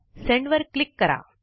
send वर click करा